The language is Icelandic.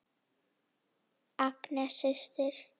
Agnes systir.